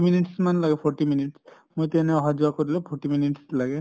minutes মান লাগে forty minute মইটো এনে অহা যৱা কৰিলেও forty minutes লাগে